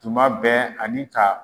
Tuma bɛɛ ani ka.